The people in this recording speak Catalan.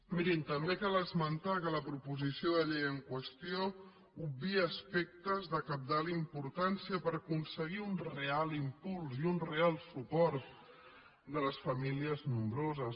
mirin també cal esmentar que la proposició de llei en qüestió obvia aspectes de cabdal importància per aconseguir un real impuls i un real suport de les famí·lies nombroses